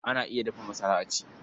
Ana iya dafa masara a ci.